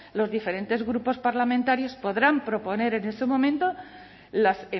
los diferentes grupos parlamentarios podrán proponer en ese momento las